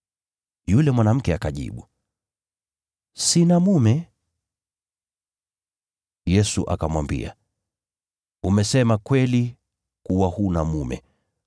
Yule mwanamke akajibu, “Sina mume.” Yesu akamwambia, “Umesema kweli kuwa huna mume.